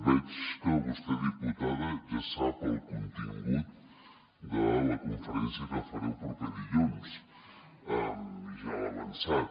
veig que vostè diputada ja sap el contingut de la conferència que faré el proper dilluns i ja l’ha avançat